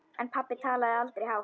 En pabbi talaði aldrei hátt.